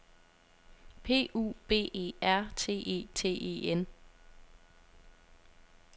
P U B E R T E T E N